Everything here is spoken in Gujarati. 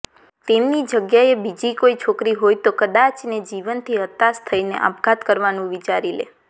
તેમની જગ્યાએ બીજી કોઈ છોકરી હોય તો કદાચને જીવનથી હતાશ થઈને આપઘાત કરવાનું વિચારી લે